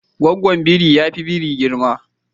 Gaggwon biri yafi biri girma.